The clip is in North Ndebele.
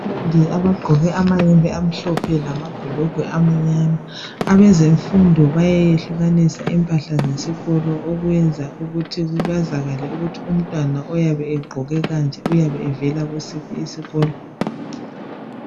Abafundi abagqoke amayembe amhlophe lamabhulugwe amnyama .Abezemmfundo bayayehlukanisa impahla zesikolo okwenza ukuthi kwazakale ukuthi umtwana oyabe gqoke kanje uyabe vela kusiphi isikolo .